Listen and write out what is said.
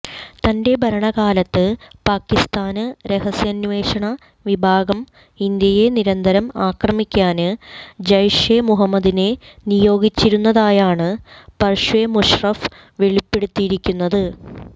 തന്റെ ഭരണകാലത്ത് പാകിസ്താന് രഹസ്യാന്വേഷണ വിഭാഗം ഇന്ത്യയെ നിരന്തരം ആക്രമിക്കാന് ജയ്ഷെ മുഹമ്മദിനെ നിയോഗിച്ചിരുന്നതായാണ് പര്വേസ് മുഷറഫ് വെളിപ്പെടുത്തിയിരിക്കുന്നത്